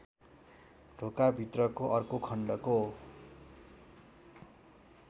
ढोकाभित्रको अर्को खण्डको